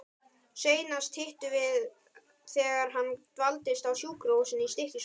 Seinast hittumst við þegar hann dvaldist á sjúkrahúsinu í Stykkishólmi.